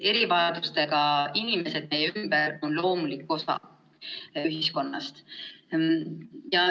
Erivajadustega inimesed meie ümber on loomulik osa ühiskonnast.